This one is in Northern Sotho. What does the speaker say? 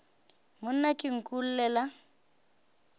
monna ke nku o llela